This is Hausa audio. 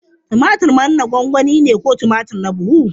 Tumatir manna gwangwani ne ko tumatur na buhu.